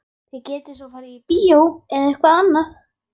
Þið getið svo farið á bíó eða eitthvað annað.